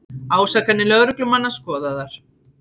Ásakanir lögreglumanna skoðaðar